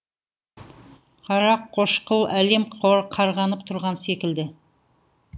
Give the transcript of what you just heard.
қарақошқыл әлем қарғанып тұрған секілді